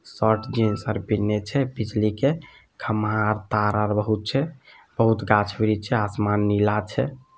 Shirt jeans आर पहिने छै बिजली के खंभा तार आर बहुत छै बहुत गाछ वृक्ष छै आसमान नीला छै।